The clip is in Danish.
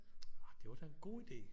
Ah det var da en god idé